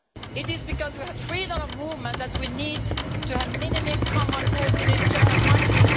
It is because we have freedom of movement that we need to have minimum common rules in the internal market.